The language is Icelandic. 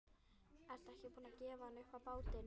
Ertu ekki búin að gefa hann upp á bátinn?